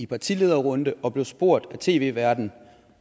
partilederrunde og blev spurgt af tv værten